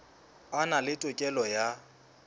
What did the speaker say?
a na le tokelo ya